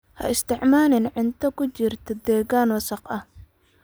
Ha isticmaalin cunto ku jirtay deegaan wasakh ah.